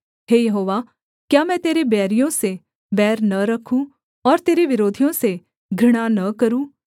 हे यहोवा क्या मैं तेरे बैरियों से बैर न रखूँ और तेरे विरोधियों से घृणा न करूँ